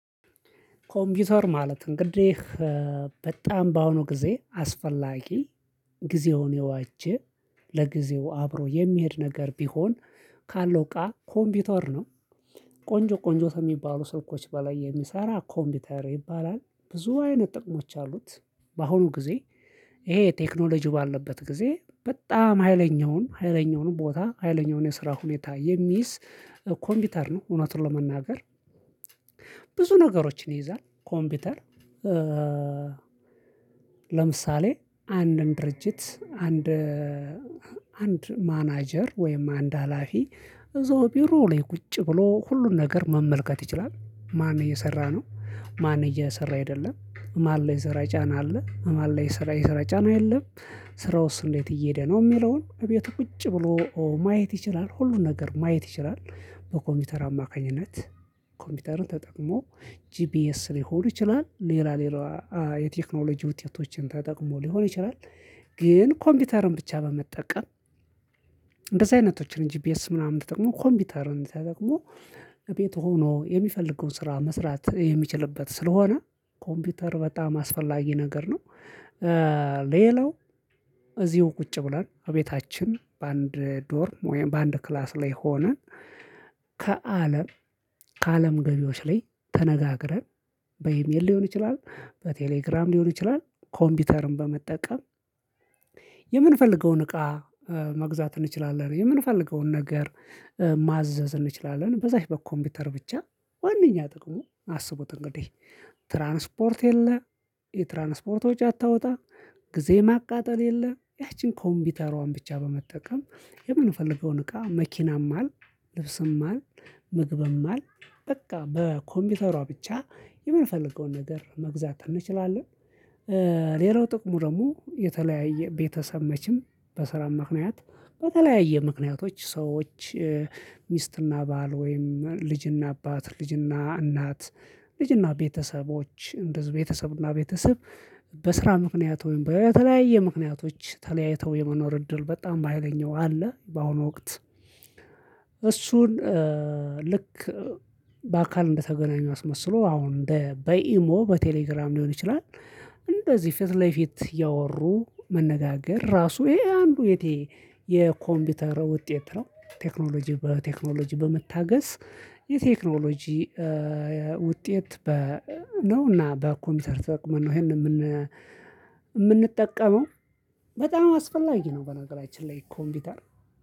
ኮምፒውተር ማለት እንግዲህ በጣም በአሁኑ ጊዜ አስፈላጊ ጊዜውን የዋጀ ለጊዜው አብሮ የሚሄድ ነገር ቢሆን ካለው እቃ ኮምፒውተር ነው። ቆንጆ ቆንጆ ከሚባሉ ስልኮች በላይ የሚሰራ ኮምፒውተር ይባላል። ብዙ አይነት ጥቅሞች አሉት። በአሁኑ ጊዜ ይሄ ቴክኖሎጂ ባለበት ጊዜ በጣም ሀይለኛውን ሀይለኛውንም ቦታ ሀይለኛውን የስራ ሁኔታ የሚይዝ ኮምፒውተር ነው እውነትን ለመናገር። ብዙ ነገሮችን ይይዛል ኮምፒውተር። ለምሳሌ አንድን ድርጅት አንድ አንድ ማናጀር ወይም አንድ ሀላፊ እዛው ቢሮ ላይ ቁጭ ብሎ ሁሉን ነገር መመልከት ይችላል። ማን እየሰራ ነው ማን እየሰራ አይደለም ማን ላይ የስራ ጫና አለ ማን ላይ የስራ የስራ ጫና የለም ስራውስ እንዴት እየሄደ ነው የሚለውን እቤቱ ቁጭ ብሎ ማየት ይችላል። ሁሉን ነገር ማየት ይችላል። በኮምፒውተር አማካኝነት ኮምፒውተርን ተጠቅሞ ጂፒኤስ ሊሆኑ ይችላል ሌላ ሌላ የቴክኖሎጂ ውጤቶችን ተጠቅሞ ሊሆን ይችላል። ግን ኮምፒውተሩን ብቻ በመጠቀም። እንደዚህ አይነቶችን ጂፒኤስ ምናምን ተጠቅሞ ኮምፒውተሩን ተጠቅሞ ቤት ሆኖ የሚፈልገውን ስራ መስራት የሚችልበት ስለሆነ ኮምፒውተር በጣም አስፈላጊ ነገር ነው። ሌላው እዚሁ ቁጭ ብለን እቤታችን በአንድ ዶርም ወይም በአንድ ክላስ ላይ ሆነን። ከአለም ከአለም ገቢዎች ላይ ተነጋግረን በኢሜል ሊሆን ይችላል በቴሌግራም ሊሆን ይችላል ኮምፒውተርን በመጠቀም። የምንፈልገውን እቃ መግዛት እንችላለን። የምንፈልገውን ነገር ማዘዝ እንችላለን። በዛች በኮምፒውተር ብቻ ዋናኛ ጥቅሙ አስቡት እንግዲህ ትራንስፖርት የለ። የትራንስፖርት ወጪ አታወጣ ጊዜ ማቃጠል የለም። ያቺን ኮምፒውተሯን ብቻ በመጠቀም የምንፈልገውን እቃ መኪናም አልን ልብስም አልን ምግብም አልን በቃ በኮምፒውተሯ ብቻ የምንፈልገውን ነገር መግዛት እንችላለን። ሌላው ጥቅሙ ደግሞ የተለያየ ቤተሰብ መቼም በስራም ምክንያት በተለያየ ምክንያቶች ሰዎች ሚስትና ባል ወይም ልጅና አባት ልጅና እናት ልጅና ቤተሰቦች እንደዚህ ቤተሰብና ቤተሰብ በስራ ምክንያት ወይም በተለያየ ምክንያቶች ተለያይተው የመኖር እድል በጣም ባይለኛው አለ። በአሁኑ ወቅት እሱን ልክ በአካል እንደተገናኙ አስመስሎ አሁን እንደ በኢሞ በቴሌግራም ሊሆን ይችላል። እንደዚህ ፊት ለፊት ያወሩ መነጋገር ራሱ ይሄ አንዱ የቴ የኮምፒውተር ውጤት ነው። ቴክኖሎጂ በቴክኖሎጂ በመታገዝ የቴክኖሎጂ ውጤት ነውና በኮምፒተር ተጠቅመን ነው ይሄንን የምንጠቀመው። በጣም አስፈላጊ ነው። በነገራችን ላይ ኮምፒውተር